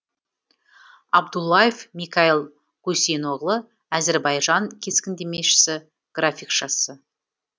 абдуллаев микаил гусейноғлы әзірбайжан кескіндемешісі графикшасы